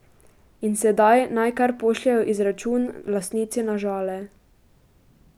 In sedaj naj kar pošljejo izračun lastnici na Žale.